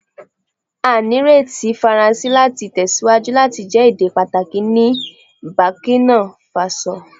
A nireti Faranse lati tẹsiwaju lati jẹ ede pataki ni Burkina Faso